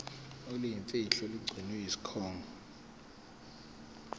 oluyimfihlo olugcinwe yisikhungo